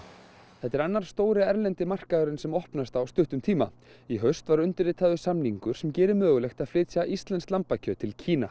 þetta er annar stóri erlendi markaðurinn sem opnast á stuttum tíma í haust var undirritaður samningur sem gerir mögulegt að flytja íslenskt lambakjöt til Kína